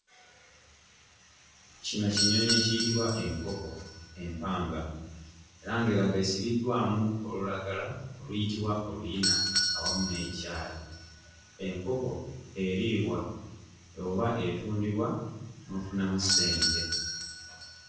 Kino kinyonyi ekiyitibwa enkoko empanga era nga eraga esibiddwamu olulagala oluyitibwa oluyina awamu n'ekyayi. Enkoko eriibwa oba etundibwa n'ofunamu ssente.